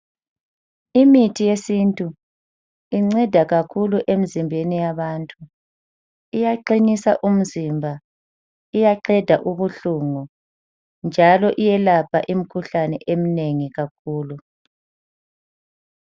Imithi yesintu inceda kakhulu emizimbeni yabantu. Iyaqinisa umzimba, iyaqeda ubuhlungu njalo iyelapha imikhuhlane eminengi kakhulu.